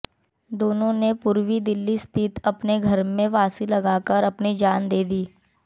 दोनों ने पूर्वी दिल्ली स्थित अपने घर में फांसी लगाकर अपनी जान दे दी